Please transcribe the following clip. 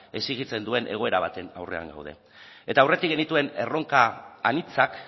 exijitzen duen egoera baten aurrean gaude eta aurretik genituen erronka anitzak